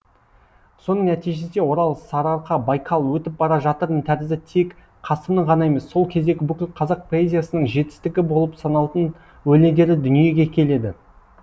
соның нәтижесінде орал сарыарқа байкал өтіп бара жатырмын тәрізді тек қасымның ғана емес сол кездегі бүкіл қазақ поэзиясының жетістігі болып саналатын өлеңдері дүниеге келеді